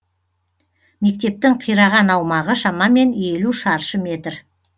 мектептің қираған аумағы шамамен елу шаршы метр